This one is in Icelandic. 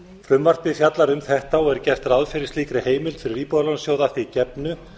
frumvarpið fjallar um þetta og er gert ráð fyrir slíkri heimild fyrir íbúðalánasjóð að því gefnu